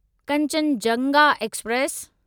Kanchenjunga express